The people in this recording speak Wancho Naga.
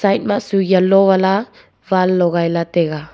side ma chu yellow wala wall logai taiga.